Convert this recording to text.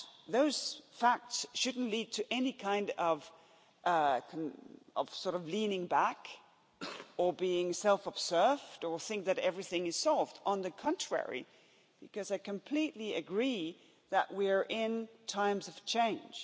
Those facts shouldn't lead to any kind of leaning back, or being self-absorbed, or think that everything is solved on the contrary, because I completely agree that we are in times of change.